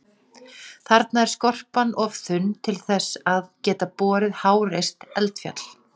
Þarna er skorpan of þunn til að geta borið háreist eldfjall.